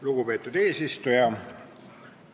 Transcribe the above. Lugupeetud eesistuja!